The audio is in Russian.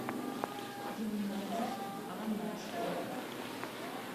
геннадий анашкин